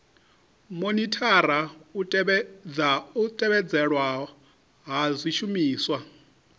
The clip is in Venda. monithara u tevhedzelwa ha zwishumiswa